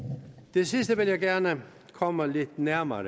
det sidste vil jeg gerne komme lidt nærmere